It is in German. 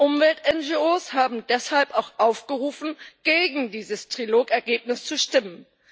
Umwelt NGOs haben deshalb auch aufgerufen, gegen dieses Trilog-Ergebnis zu stimmen.